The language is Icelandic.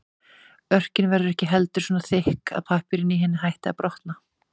Örkin verður ekki heldur svo þykk að pappírinn í henni hætti að brotna.